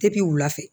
Depi wula fɛ